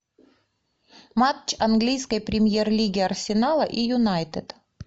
матч английской премьер лиги арсенала и юнайтед